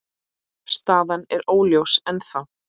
Staðan er óljós ennþá.